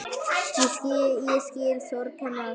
Ég skil sorg hennar.